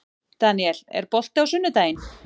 Daniel, er bolti á sunnudaginn?